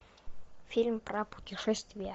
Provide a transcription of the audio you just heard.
фильм про путешествия